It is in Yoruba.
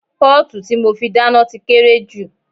Pọ́ọ̀tù tí mo fi dáná ti kéré jù